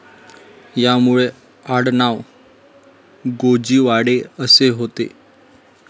यांचे मूळ आडनाव गोजीवाडे असे होते.